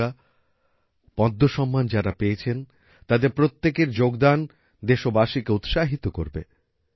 বন্ধুরা পদ্ম সম্মান যারা পেয়েছেন তাদের প্রত্যেকের যোগদান দেশবাসীকে উৎসাহিত করবে